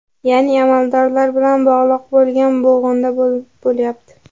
Ya’ni amaldorlar bilan bog‘liq bo‘lgan bo‘g‘inda bo‘lyapti.